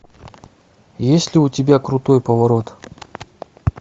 есть ли у тебя крутой поворот